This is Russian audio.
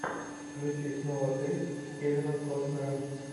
включи снова ты с кевином коснером